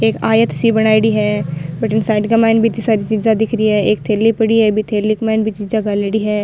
एक आयत सी बनायेड़ी है भटीन साइड का माईन भी इतने सारी चीजा दिख री है एक थैली पड़ी है थैली का माइन भी चीज़ा घालेड़ी है।